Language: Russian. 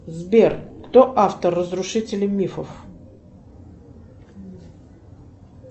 сбер кто автор разрушителей мифов